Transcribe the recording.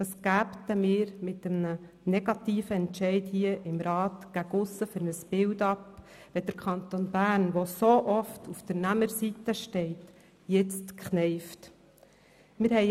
Was gäben wir mit einem negativen Entscheid hier im Rat gegen aussen für ein Bild ab, wenn der Kanton Bern, der so oft auf der Nehmerseite steht, jetzt kneifen würde?